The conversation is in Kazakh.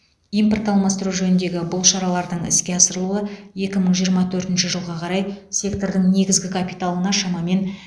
импорт алмастыру жөніндегі бұл шаралардың іске асырылуы екі мың жиырма төртінші жылға қарай сектордың негізгі капиталына шамамен